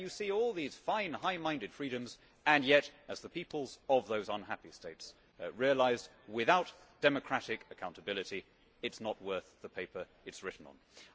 There you see all these fine, high minded freedoms and yet, as the peoples of those unhappy states realised, without democratic accountability, it is not worth the paper it is written on.